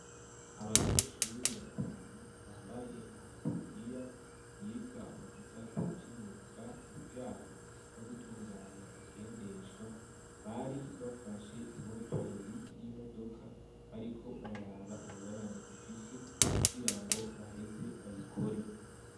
Abanyeshuri batanu bambaye amataburiya, biga mu gisata c'imyuka ibijanye no gutunganya ingendeshwa, bari bafashe imoteri y'imodoka bariko bararaba ingorane ifisi, kugira ngo baheze bayikore.